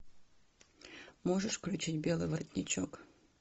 можешь включить белый воротничок